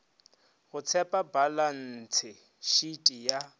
go tshepa balantshe shiti ya